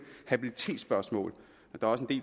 habilitetsspørgsmål og